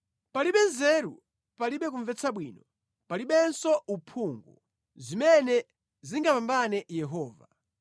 Palibe nzeru, palibe kumvetsa bwino, palibenso uphungu, zimene zingapambane Yehova.